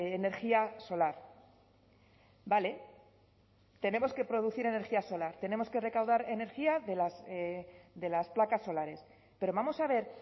energía solar vale tenemos que producir energía solar tenemos que recaudar energía de las placas solares pero vamos a ver